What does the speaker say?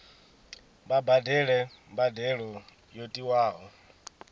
vha badele mbadelo yo tiwaho